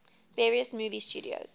various movie studios